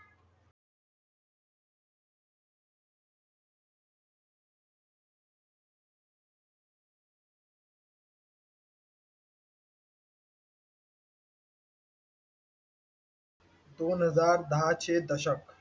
दोन हजार दहाचे दशक.